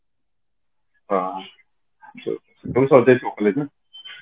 ହଁ june ସତେଇଶି ନା